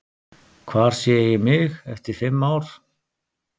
Hvar sé ég mig eftir fimm ár?